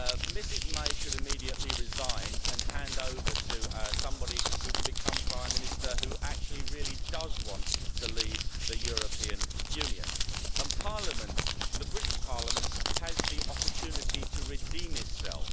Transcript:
Ms May should immediately resign and hand over to somebody who can become prime minister who really does want to leave the European Union, and the British Parliament has the opportunity to redeem itself.